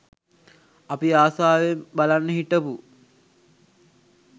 අපි ආසාවෙන් බලන්න හිටපු